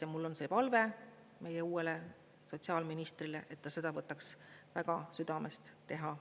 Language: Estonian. Ja mul on palve meie uuele sotsiaalministrile, et ta seda võtaks väga südamest teha.